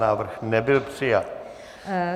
Návrh nebyl přijat.